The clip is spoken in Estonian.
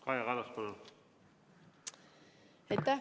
Kaja Kallas, palun!